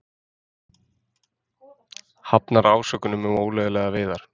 Hafnar ásökunum um ólöglegar veiðar